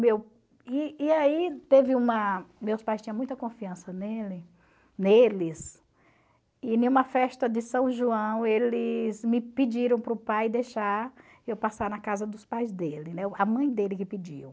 e e aí teve uma... Meus pais tinham muita confiança nele neles, e em uma festa de São João eles me pediram para o pai deixar eu passar na casa dos pais dele, né a mãe dele que pediu.